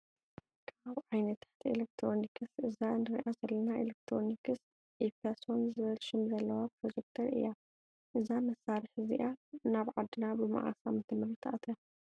ካብ ዓይነታት ኤሌክትሮኒክስ እዛ እንሪኣ ዘለና ኤሌክትሮኒስ ኢፐሶን ዝብል ሽም ዘለዋ ፕሮጀክተር እያ:: እዛ መሳሪሒ እዚኣ ናብ ዓድና ብምዓስ ኣመተምህርት ኣትያ ?